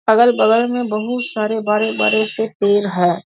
अगल-बगल में बहुत सारे बड़े-बड़े से पेड़ है।